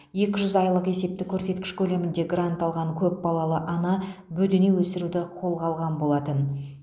екі жүз айлық есептік көрсеткіш көлемінде грант алған көп балалы ана бөдене өсіруді қолға алған болатын